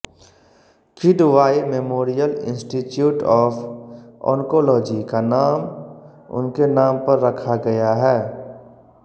Kidwai Memorial Institute of Oncology का नाम उनके नाम पर रखा गया है